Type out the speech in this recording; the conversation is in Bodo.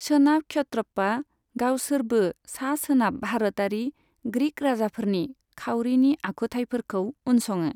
सोनाब क्षत्रपआ गावसोरबो सा सोनाबाव भारतारि ग्रिक राजाफोरनि खावरिनि आखुथाइफोरखौ उनसङो।